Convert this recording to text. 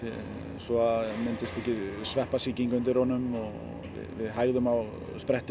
svo að myndist ekki sveppasýking undir honum og við hægðum á